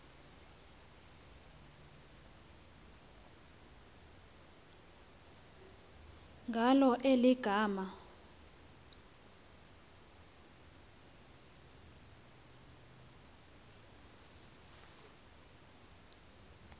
ngalo eli gama